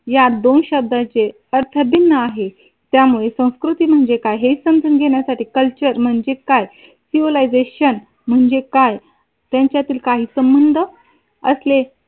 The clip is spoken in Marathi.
या दोन शब्दाचे अर्थ भिन्न आहे. त्यामुळे संस्कृती म्हणजे काय? हे समजून घेण्यासाठी कल्चर म्हणजे काय? सिवीलायझेशन म्हणजे काय त्यांच्यातील काही संबंध असले